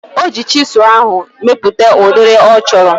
Oji chisụl ahu mepụta udiri ọ chọrọ